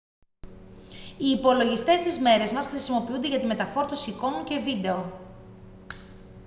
οι υπολογιστές στις μέρες μας χρησιμοποιούνται για τη μεταφόρτωση εικόνων και βίντεο